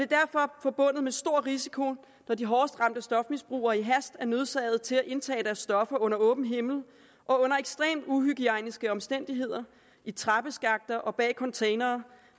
derfor forbundet med stor risiko når de hårdest ramte stofmisbrugere i hast er nødsaget til at indtage deres stoffer under åben himmel og under ekstremt uhygiejniske omstændigheder i trappeskakter og bag containere